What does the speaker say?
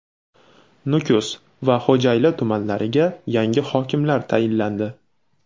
Nukus va Xo‘jayli tumanlariga yangi hokimlar tayinlandi.